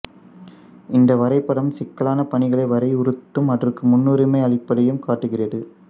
இந்த வரைபடம் சிக்கலான பணிகளை வரையறுத்தும் அதற்கு முன்னுரிமை அளிப்பதையும் காட்டுகிறது